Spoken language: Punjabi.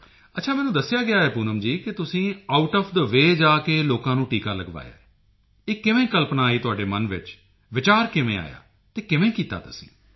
ਅੱਛਾ ਮੈਨੂੰ ਦੱਸਿਆ ਗਿਆ ਹੈ ਕਿ ਪੂਨਮ ਜੀ ਤੁਸੀਂ ਆਉਟ ਓਐਫ ਥੇ ਵੇਅ ਜਾ ਕੇ ਲੋਕਾਂ ਨੂੰ ਟੀਕਾ ਲਗਵਾਇਆ ਹੈ ਇਹ ਕਿਵੇਂ ਕਲਪਨਾ ਆਈ ਤੁਹਾਡੇ ਮਨ ਵਿੱਚ ਵਿਚਾਰ ਕਿਵੇਂ ਆਇਆ ਅਤੇ ਕਿਵੇਂ ਕੀਤਾ ਤੁਸੀਂ